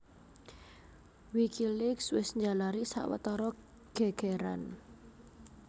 Wikileaks wis njalari sawetara gègèran